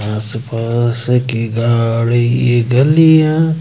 आसपास की गाड़ी गलियां--